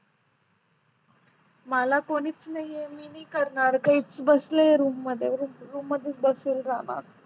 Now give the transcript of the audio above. मला कोणीच नाही आहे मी नाही करणार काहीच बसली आहे रूम मध्ये रूम मध्ये बसलेली राहणार